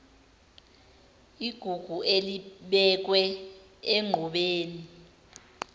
igugu elibekwe enqubeni